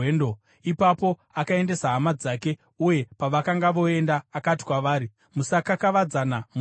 Ipapo akaendesa hama dzake uye pavakanga voenda akati kwavari, “Musakakavadzana munzira!”